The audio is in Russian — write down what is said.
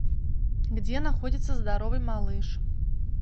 где находится здоровый малыш